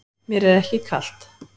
Mér er ekki kalt.